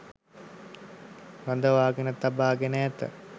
රඳවාගෙන තබාගෙන ඇත.